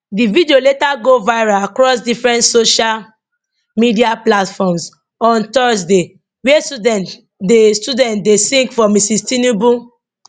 di video later go viral across different social media platforms on thursday wia students dey students dey sing for mrs tinubu